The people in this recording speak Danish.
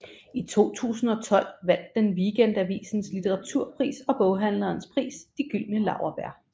I 2012 vandt den Weekendavisens litteraturpris og boghandlernes pris De Gyldne Laurbær